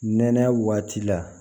Nɛnɛ waati la